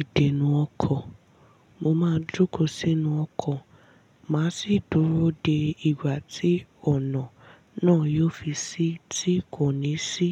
ìdèna ọko, mo máa jókòó sínú ọkọ̀ má sì dúró dé ìgbà tí ọ̀nà náà yóò fi ṣí tí kò ní sí